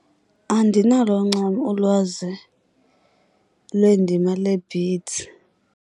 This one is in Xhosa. Andinalo ncam ulwazi lwendima lee-beads.